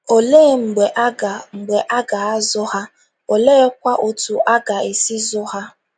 Olee mgbe a ga mgbe a ga - azụ ha, oleekwa otú a ga - esi zụọ ha?